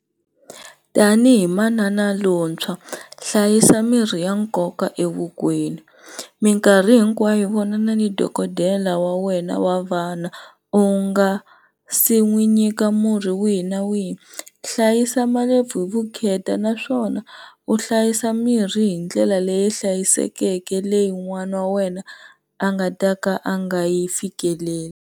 Tanihi manana lontshwa hlayisa mirhi ya nkoka evukweni mikarhi hinkwayo vonana ni dokodela wa wena wa vana u nga se n'wi nyika murhi wihi na wihi hlayisa malebvu hi vukheta naswona u hlayisa mirhi hindlela leyi hlayisekeke leyi n'wana wa wena a nga ta ka a nga yi fikeleli.